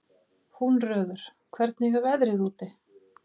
Húnröður, hvernig er veðrið úti?